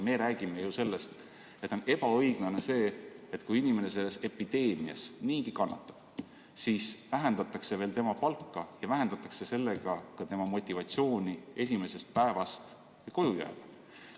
Me räägime ju sellest, et on ebaõiglane, kui inimene selles epideemias niigi kannatab, siis vähendatakse veel tema palka ja sellega vähendatakse ka tema motivatsiooni haigena koju jääda.